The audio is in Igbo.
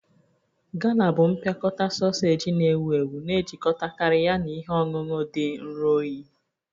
Gala bụ mpịakọta soseji na-ewu ewu na-ejikọtakarị ya na ihe ọṅụṅụ dị nro oyi